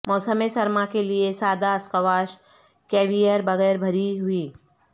موسم سرما کے لئے سادہ اسکواش کیویئر بغیر بھری ہوئی